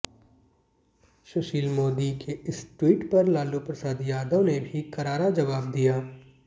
सुशिल मोदी के इस ट्वीट पर लालू प्रसाद यादव ने भी करारा जवाब दिया